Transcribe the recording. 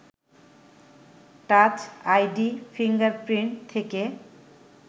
touch ID, fingerprint থেকে